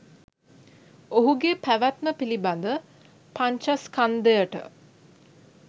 ඔහුගේ පැවැත්ම පිළිබඳ පංචස්කන්ධයට